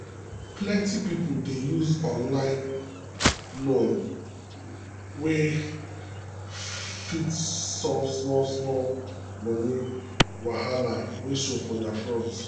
plenty people dey use online loan wey fast to solve small-small money wahala wey show for their front.